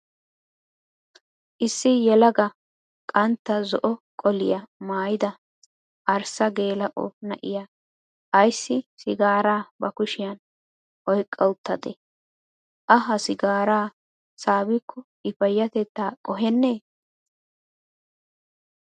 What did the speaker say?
Issi yelaaga qantta zo''o qoliyaa maayyida arssa geela''o naa''iyaa ayssi sigaara ba kushiyaan oyikka uttadee? A ha sigaaraa saabikko I payyatetta qoheennee?